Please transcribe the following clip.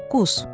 Doqquz.